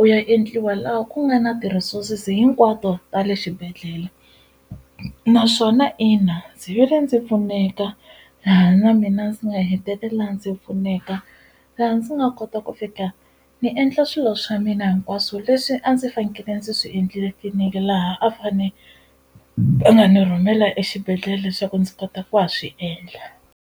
u ya endliwa laha ku nga na ti-resources hinkwato ta le xibedhlele naswona ina ndzi vile ndzi pfuneka laha na mina ndzi nga hetelela ndzi pfuneka laha ndzi nga kota ku fika ni endla swilo swa mina hinkwaswo leswi a ndzi fanekele ndzi swi endlile tliliniki laha a fane va nga ni rhumela exibedhlele leswaku ndzi kota ku ha swi endla.